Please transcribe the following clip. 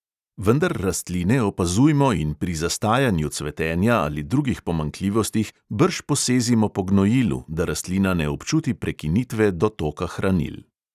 Vendar rastline opazujmo in pri zastajanju cvetenja ali drugih pomanjkljivostih brž posezimo po gnojilu, da rastlina ne občuti prekinitve dotoka hranil.